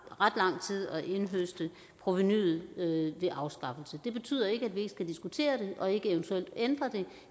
ret lang tid at indhøste provenuet ved afskaffelse det betyder ikke at vi ikke skal diskutere det og ikke eventuelt ændre det